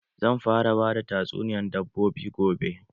Zan fara bada tasuniyan dabbobi gobe.